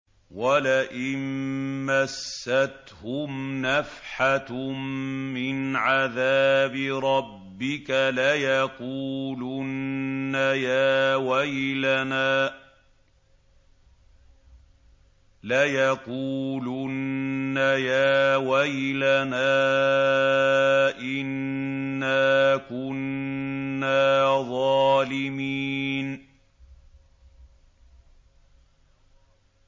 وَلَئِن مَّسَّتْهُمْ نَفْحَةٌ مِّنْ عَذَابِ رَبِّكَ لَيَقُولُنَّ يَا وَيْلَنَا إِنَّا كُنَّا ظَالِمِينَ